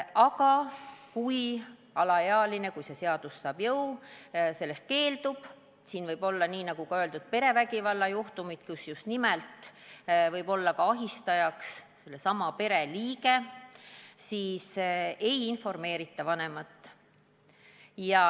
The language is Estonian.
Aga kui alaealine, juhul kui see seadus jõustub, täiskasvanu kaasamisest keeldub – siin võib tegemist olla, nagu enne öeldud, perevägivallajuhtumiga, mille korral võib ahistajaks olla sellesama pere liige –, siis vanemat ei informeerita.